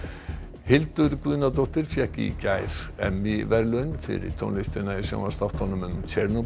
Hildur Guðnadóttir fékk í gær verðlaun fyrir tónlistina í sjónvarpsþáttunum